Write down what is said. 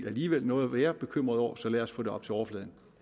alligevel noget at være bekymret over så lad os få det op til overfladen